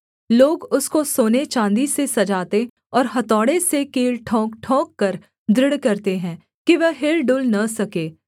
लोग उसको सोनेचाँदी से सजाते और हथौड़े से कील ठोंकठोंककर दृढ़ करते हैं कि वह हिलडुल न सके